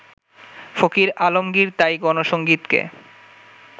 ফকির আলমগির তাই গণসংগীতকে